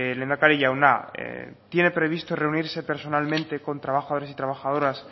lehendakari jauna tiene previsto reunirse personalmente con trabajadores y trabajadoras